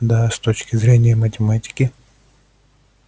да с точки зрения математики